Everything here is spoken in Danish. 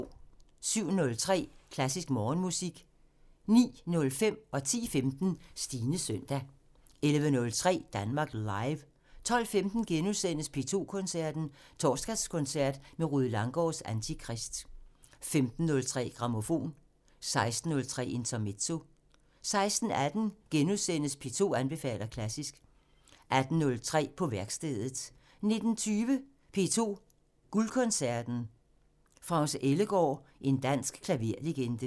07:03: Klassisk Morgenmusik 09:05: Stines søndag 10:15: Stines søndag 11:03: Danmark Live 12:15: P2 Koncerten – Torsdagskoncert med Rued Langgaards Antikrist * 15:03: Grammofon 16:03: Intermezzo 16:18: P2 anbefaler klassisk * 18:03: På værkstedet 19:20: P2 Guldkoncerten – France Ellegaard – en dansk klaverlegende